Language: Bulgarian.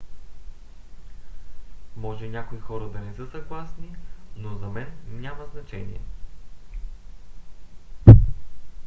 може някои хора да не са съгласни но за мен няма значение